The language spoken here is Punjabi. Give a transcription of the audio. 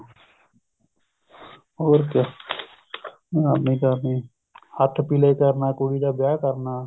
ਹੋਰ ਕਿਆ ਬਦਨਾਮੀ ਕਰਨੀ ਹੱਥ ਪੀਲੇ ਕਰਨਾ ਕੁੜੀ ਦਾ ਵਿਆਹ ਕਰਨਾ